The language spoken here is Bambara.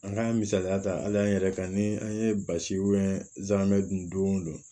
An k'an misaliya ta hali an yɛrɛ kan ni an ye basi dun don o don